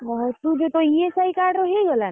ଓହୋ ତୁ ଯୋଉ ତୋ ESI card ରେ ହେଇଗଲା?